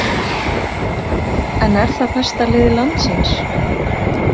En er það besta lið landsins?